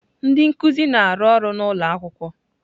Ndị nkuzi na-arụ ọrụ n'ụlọ akwụkwọ.